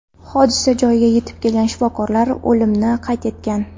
Hodisa joyiga yetib kelgan shifokorlar o‘limni qayd etgan.